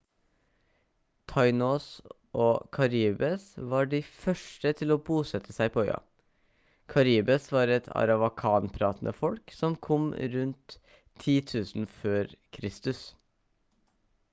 taínos og caribes var de første til å bosette seg på øya. caribes var et arawakan-pratende folk som kom rundt 10 000 f.kr